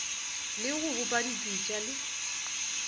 le go bopa dipitša le